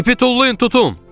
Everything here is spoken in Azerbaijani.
İpi tullayın, tutun!